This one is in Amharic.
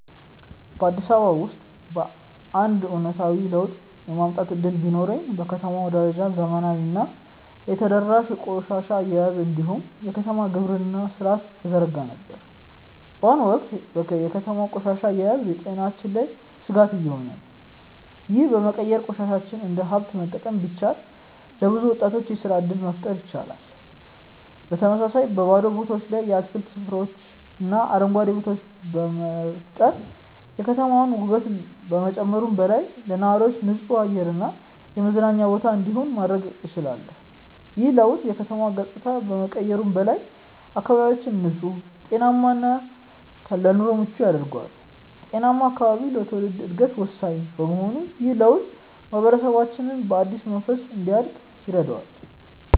በአዲስ አበባ ውስጥ አንድ አዎንታዊ ለውጥ የማምጣት እድል ቢኖረኝ፣ በከተማዋ ደረጃ ዘመናዊና የተደራጀ የቆሻሻ አያያዝ እንዲሁም የከተማ ግብርና ሥርዓትን እዘረጋ ነበር። በአሁኑ ወቅት የከተማዋ ቆሻሻ አያያዝ በጤናችን ላይ ስጋት እየሆነ ነው፤ ይህንን በመቀየር ቆሻሻን እንደ ሀብት መጠቀም ቢቻል፣ ለብዙ ወጣቶች የስራ እድል መፍጠር ይቻላል። በተመሳሳይ፣ በባዶ ቦታዎች ላይ የአትክልት ስፍራዎችንና አረንጓዴ ቦታዎችን በመፍጠር የከተማዋን ውበት ከመጨመሩም በላይ፣ ለነዋሪዎች ንጹህ አየር እና የመዝናኛ ቦታ እንዲኖር ማድረግ እችላለሁ። ይህ ለውጥ የከተማዋን ገጽታ ከመቀየሩም በላይ፣ አካባቢያችንን ንጹህ፣ ጤናማ እና ለኑሮ ምቹ ያደርገዋል። ጤናማ አካባቢ ለትውልድ ዕድገት ወሳኝ በመሆኑ ይህ ለውጥ ማህበረሰባችንን በአዲስ መንፈስ እንዲያድግ ያደርገዋል።